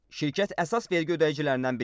Şirkət əsas vergi ödəyicilərindən biri idi.